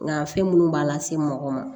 Nka fɛn minnu b'a lase mɔgɔ ma